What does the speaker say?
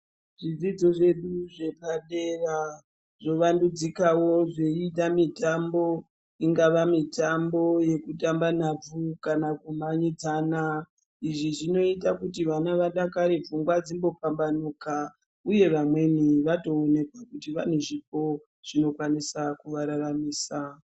Zvidzidzo zvedu zvepadera zvova ndudzikawo zvoita zveita mitambo ingava mitambo yekutamba nhabvu kana kumhanyidzana. Izvi zvinoita kuti vana vadakare pfungwa dzimbo pambanuka uye vamweni vatoonawo kuti vane zvipo zvinokwanisa kuvararamisa.